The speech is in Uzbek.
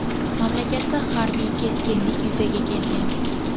mamlakatda harbiy keskinlik yuzaga kelgan.